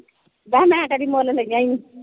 ਮੈਂ ਕਿਹਾ ਮੈਂ ਕਦੀ ਮੁੱਲ ਲਈਆਂ ਹੀ ਨਹੀਂ ।